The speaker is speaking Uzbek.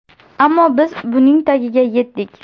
Ammo biz buning tagiga yetdik.